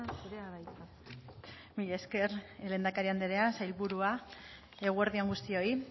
zurea da hitza mila esker lehendakari andrea sailburua eguerdi on guztioi